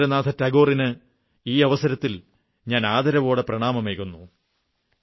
രവീന്ദ്രനാഥ ടാഗോറിന് ഈ അവസരത്തിൽ ഞാൻ ആദരവോടെ പ്രണാമമേകുന്നു